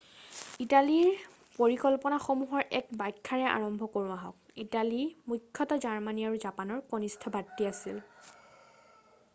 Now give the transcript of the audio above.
ইটালীৰ পৰিকল্পনাসমূহৰ এক ব্যাখ্যা্ৰে আৰম্ভ কৰোঁ আহক ইটালী মূখ্যতঃ জাৰ্মানী আৰু জাপানৰ কণিষ্ঠ ভাতৃ আছিল